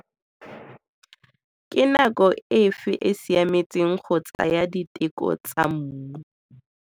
Ke nako efe e siametseng go tsaya diteko tsa mmu?